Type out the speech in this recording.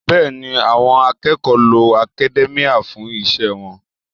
Bẹ́ẹ̀ni, àwọn akẹ́kọ̀ọ́ lo academia fún iṣẹ́ wọn